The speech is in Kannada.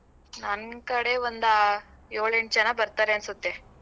ನನ್ ಕಡೆ ಒಂದ ಯೋಳ್ ಎಂಟ್ ಜನ ಬರ್ತರೆ ಅನ್ಸತ್ತೆ.